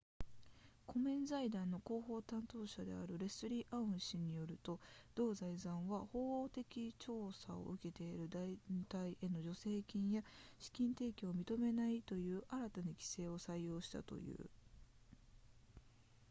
コメン財団の広報担当者であるレスリーアウン氏によると同財団は法的調査を受けている団体への助成金や資金提供を認めないという新たな規則を採用したという